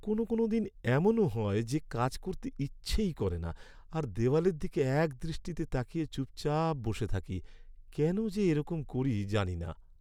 কোনও কোনও দিন এমনও হয় যে কাজ করতে ইচ্ছেই করে না আর দেওয়ালের দিকে একদৃষ্টিতে তাকিয়ে চুপচাপ বসে থাকি, কেন যে এরকম করি জানি না।